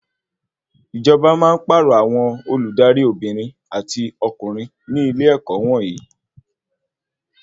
Ìjọba máa ń pàrọ̀ àwọn Olùdarí Obìnrin àti ọkùnrin ní ilé-ẹ̀kọ́ wọnyii